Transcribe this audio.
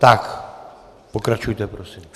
Tak, pokračujte prosím.